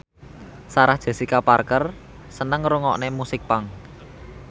Sarah Jessica Parker seneng ngrungokne musik punk